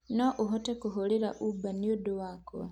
no ũhote kũhũrira Uber nĩũndũ wakwa